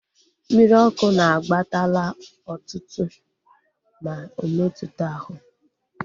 Mmiri ọkụ na akpatala otuto ma ometuta ahụ